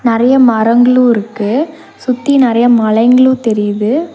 நறைய மரங்ளு இருக்கு சுத்தி நறைய மலைங்ளு தெரியுது.